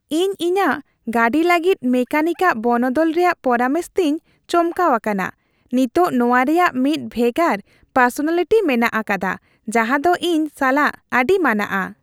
ᱤᱧ ᱤᱧᱟᱹᱜ ᱜᱟᱹᱰᱤ ᱞᱟᱹᱜᱤᱫ ᱢᱮᱠᱟᱱᱤᱠ ᱟᱜ ᱵᱚᱱᱚᱫᱚᱞ ᱨᱮᱭᱟᱜ ᱯᱚᱨᱟᱢᱚᱥ ᱛᱮᱧ ᱪᱚᱢᱠᱟᱣ ᱟᱠᱟᱱᱟ ᱾ ᱱᱤᱛ ᱱᱚᱣᱟ ᱨᱮᱭᱟᱜ ᱢᱤᱫ ᱵᱷᱮᱜᱟᱨ ᱯᱟᱨᱥᱳᱱᱟᱞᱤᱴᱤ ᱢᱮᱱᱟᱜ ᱟᱠᱟᱫᱟ ᱡᱟᱦᱟᱸ ᱫᱚ ᱤᱧ ᱥᱟᱞᱟᱜ ᱟᱹᱰᱤ ᱢᱟᱱᱟᱜᱼᱟ ᱾